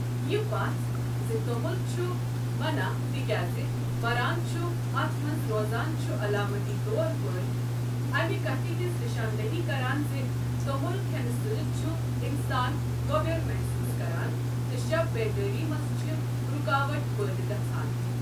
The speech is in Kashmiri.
یہٕ پژھ زِ توٚمُل چھُ منہہ تکیٛاز مران چھ اتھ منٛز روزان چھ علامتی طور پٲٹھۍ امہ کتھ ہنٛز نشاندہی کران زِ توٚمل کھٮ۪نہٕ سۭتۍ چھُ انسان گۄبٮ۪ر محسوس کران تہٕ شب بیدٲری منٛز چھِ رُکاوٹ پٲدٕ گژھان۔